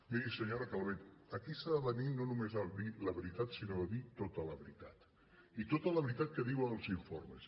miri senyora calvet aquí s’ha de venir no només a dir la veritat sinó a dir tota la veritat i tota la veritat que diuen els informes